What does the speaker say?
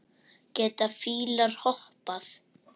Geta fílar hoppað?